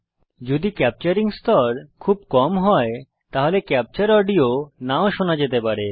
যদি ক্যাপচারিং স্তর খুব কম হয় তাহলে ক্যাপচার অডিও নাও শোনা যেতে পারে